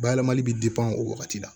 Bayɛlɛmali bɛ o wagati la